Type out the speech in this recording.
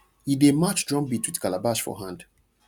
e dey match drum beat with calabash for hand